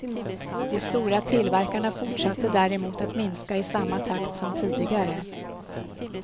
De stora tillverkarna fortsatte däremot att minska i samma takt som tidigare.